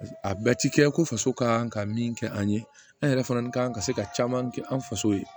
A bɛɛ ti kɛ ko faso ka kan ka min kɛ an ye an yɛrɛ fana kan ka se ka caman kɛ an faso ye